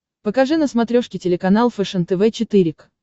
покажи на смотрешке телеканал фэшен тв четыре к